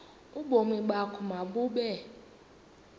ubomi bakho mabube